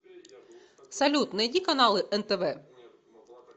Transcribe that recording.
салют найди каналы нтв